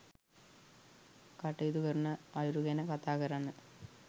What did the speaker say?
කටයුතු කරන අයුරු ගැන කතා කරන්න